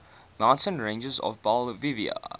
mountain ranges of bolivia